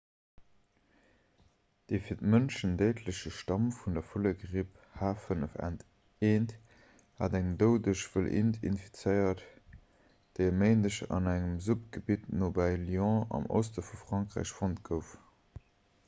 de fir d'mënschen déidleche stamm vun der vullegripp h5n1 hat eng doudeg wëlliint infizéiert déi e méindeg an engem suppgebitt nobäi lyon am oste vu frankräich fonnt gouf